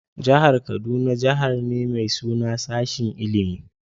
Jihar kaduna Jihar ne mai suna sashin ilimie.